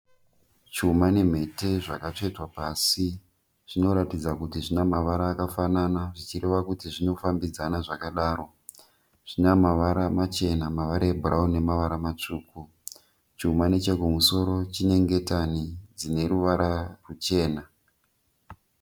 Chuma nemhete zvakatsvetwa pasi. Zvinoratidza kuti zvina mavara akafanana zvichireva kuti zvinofambidzana zvakadaro. Zvina mavara machena, mavara ebhurawuni nemavara matsvuku. Chuma nechekumusoro chine ngetani dzine ruvara ruchena.